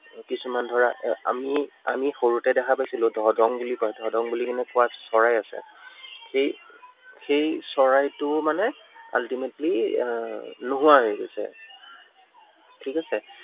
কিছুমান ধৰা আহ আমি আমি সৰুতে দেখা পাইছিলো ধদং বুলি কয়, ধদং বুলি কেনে কোৱা চৰাই আছে। সেই, সেই চৰাইটো মানে ultimately আহ নোহোৱা হৈ গৈছে। ঠিক আছে।